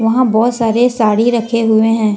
वहां बहुत सारे साड़ी रखे हुए हैं ।